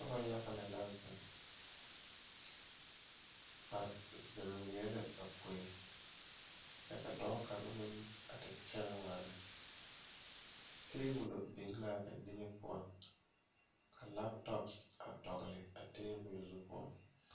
Nobɔ yaga lɛ la zeŋ ba zeŋ leɛ la ba poe kyɛ ka dɔɔ kaŋa meŋ a te kyɛnɛ waana tabolɔ biŋe laa ba niŋe poɔ ka laptɔp a dɔgle a tabolɔ zu poɔ.